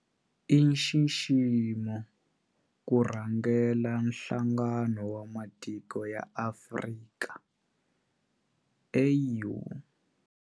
I nxiximo ku rhangela Nhlangano wa Matiko ya Afrika, AU.